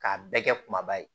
K'a bɛɛ kɛ kumaba ye